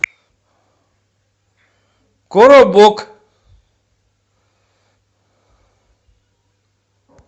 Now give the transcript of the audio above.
коробок